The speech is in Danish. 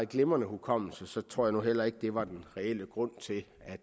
glimrende hukommelse tror jeg nu heller ikke det var den reelle grund til at